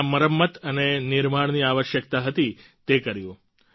જ્યાં મરમ્મત અને નિર્માણની આવશ્યકતા હતી તે કર્યું